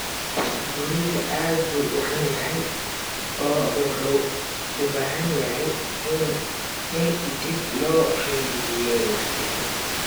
Guriga aad buu u xun yahay oo wuxuu u baahan yahay in dib loo rinjiyeeyo.